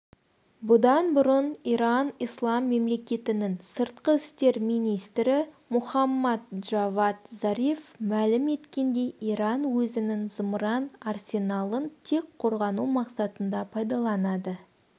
бұдан бұрын иран ислам мемлекетінің сыртқы істер министрі мохаммад джавад зариф мәлім еткендей иран өзінің зымыран арсеналын тек қорғану мақсатында пайдаланады